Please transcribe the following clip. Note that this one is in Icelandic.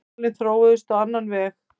Málin þróuðust á annan veg.